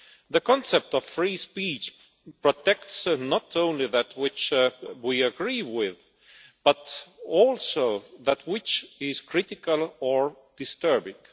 The concept of free speech protects not only that which we agree with, but also that which is critical or disturbing.